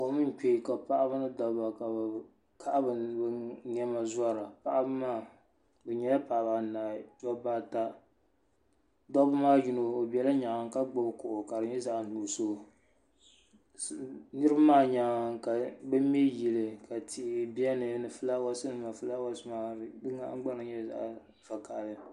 Kom n kpe ka paɣaba ni dabba ka bɛ kahi bɛ niɛma zora paɣaba maa bɛ nyɛla paɣaba anahi dabba ata dabba maa yino o bela nyaanga ka gbibi bɛ kuɣu ka di nyɛ zaɣa nuɣuso niriba maa nyaanga ka bɛ mɛ yili tihi niɛni ni filaawaasi nima filaawaasi nima di nahingbana nyɛla zaɣa vakahali.